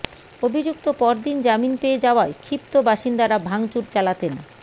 অভিযুক্ত পরদিন জামিন পেয়ে যাওয়ায় ক্ষিপ্ত বাসিন্দারা ভাঙচুর চালাতেন